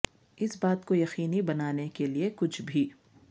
اس بات کو یقینی بنانے کے لئے کہ کچھ بھی